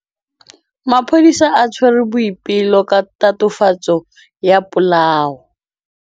Maphodisa a tshwere Boipelo ka tatofatsô ya polaô.